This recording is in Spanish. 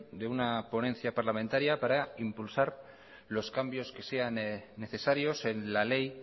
de una ponencia parlamentaria para impulsar los cambios que sean necesarios en la ley